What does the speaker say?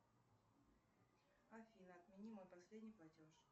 афина отмени мой последний платеж